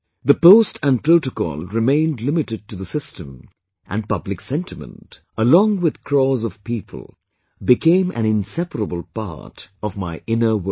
The post and protocol remained limited to the system and public sentiment, along with crores of people, became an inseparable part of my inner world